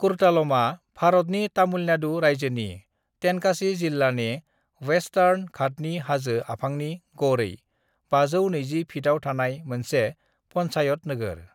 कुर्तालमा भारतनि तामिलनाडु रायजोनि तेनकासी जिल्लानि वेसतार्न घातनि हाजो आफांनि गड़ै 520 फितआव थानाय मोनसे पन्चायत नोगोर।